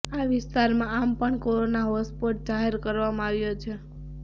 આ વિસ્તાર આમ પણ કોરોના હોટસ્પોટ જાહેર કરવામાં આવ્યો છે